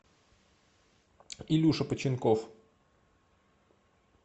илюша починков